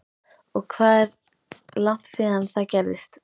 Og hvað er langt síðan það gerðist?